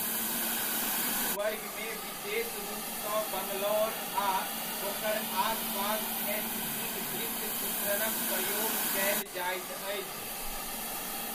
किछु वर्गमे विशेष रूपसँ बंगलौर आ ओकर आसपास एचजीक दृश्य चित्रणक प्रयोग कयल जाइत अछि।